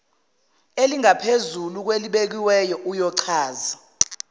elingaphezulu kwelibekiwe uyochaza